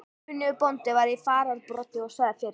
Kunnugur bóndi var í fararbroddi og sagði fyrir.